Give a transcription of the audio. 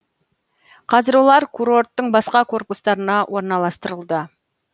қазір олар курорттың басқа корпустарына орналастырылды